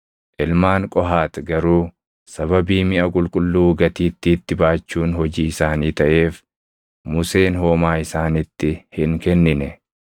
Ilmaan Qohaati garuu sababii miʼa qulqulluu gatiittiitti baachuun hojii isaanii taʼeef Museen homaa isaaniitti hin kennine.